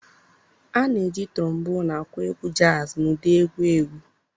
A na-eji Trombonụ akụ egwu jazz na ụdị egwu egwu.